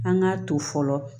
An k'a to fɔlɔ